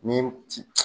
Ni